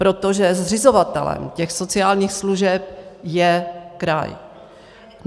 Protože zřizovatelem těch sociálních služeb je kraj.